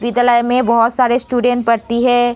विद्यालय में बहुत सारी स्टूडेंट पढ़ती है |